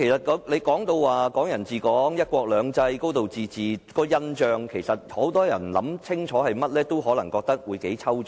"港人治港"、"一國兩制"、"高度自治"對很多人來說可能很抽象。